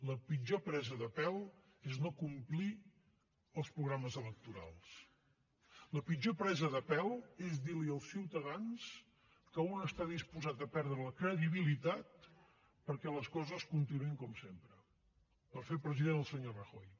la pitjor presa de pèl és no complir els programes electorals la pitjor presa de pèl és dir los als ciutadans que un està disposat a perdre la credibilitat perquè les coses continuïn com sempre per fer president el senyor rajoy